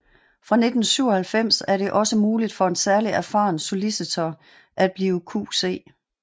Fra 1997 er det også muligt for en særligt erfaren solicitor at blive QC